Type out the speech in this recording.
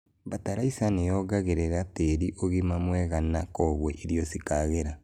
Batalaiza nĩ yongagerĩra tĩĩri ũgima mwega na koguo irio cikagĩra.